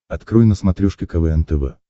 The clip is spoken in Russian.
открой на смотрешке квн тв